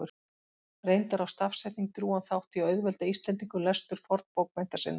Reyndar á stafsetning drjúgan þátt í að auðvelda Íslendingum lestur fornbókmennta sinna.